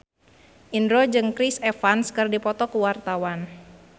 Indro jeung Chris Evans keur dipoto ku wartawan